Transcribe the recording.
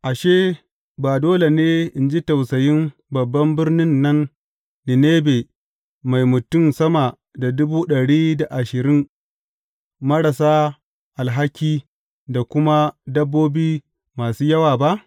Ashe, ba dole ne in ji tausayin babban birnin nan Ninebe mai mutum sama da dubu ɗari da ashirin marasa alhaki, da kuma dabbobi masu yawa ba?